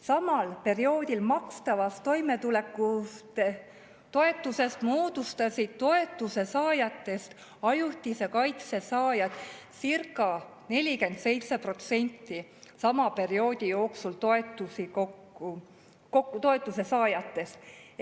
Samal perioodil makstud toimetulekutoetuse puhul moodustasid ajutise kaitse saajad circa 47% kõigist toetuse saajatest.